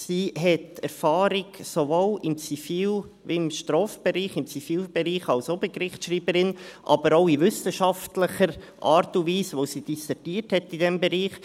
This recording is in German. Sie hat sowohl im Zivil- wie auch im Strafbereich Erfahrung, im Zivilbereich als Obergerichtsschreiberin, aber auch in wissenschaftlicher Art und Weise, weil sie in diesem Bereich dissertiert hat.